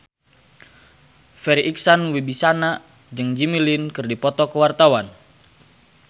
Farri Icksan Wibisana jeung Jimmy Lin keur dipoto ku wartawan